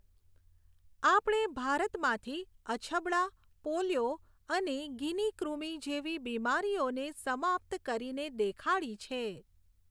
આપણે ભારતમાંથી અછબડા, પોલિયો અને ગિની કૃમિ જેવી બીમારીઓને સમાપ્ત કરીને દેખાડી છે.